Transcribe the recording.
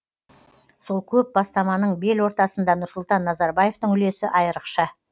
сол көп бастаманың белортасында нұрсұлтан назарбаевтың үлесі айрықша